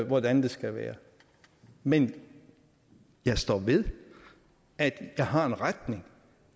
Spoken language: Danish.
hvordan det skal være men jeg står ved at jeg har en retning